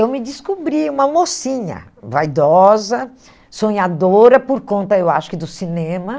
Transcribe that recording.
Eu me descobri uma mocinha, vaidosa, sonhadora, por conta, eu acho, que do cinema.